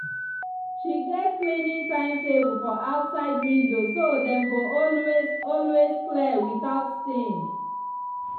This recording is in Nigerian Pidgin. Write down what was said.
she get cleaning timetable for outside window so dem go always always clear without stain.